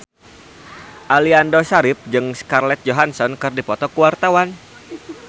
Aliando Syarif jeung Scarlett Johansson keur dipoto ku wartawan